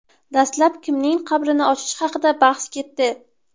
Dastlab kimning qabrini ochish haqida bahs ketdi.